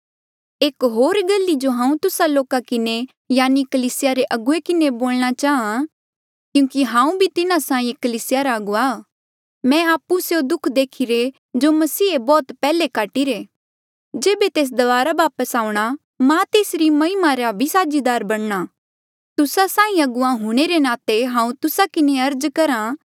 एक होर गल ई जो हांऊँ तुस्सा लोका किन्हें यानि कलीसिया रे अगुवे किन्हें बोलणा चाहां क्यूंकि हांऊँ भी तिन्हा साहीं एक कलीसिया रा अगुवा मैं आपु स्यों दुःख देखिरे जो मसीहे बौह्त पैहले काटीरे जेबे तेस दबारा वापस आऊंणा मां तेसरी महिमा रा भी साझीदार बणना तुस्सा साहीं अगुवा हूंणे रे नाते हांऊँ तुस्सा किन्हें अर्ज करहा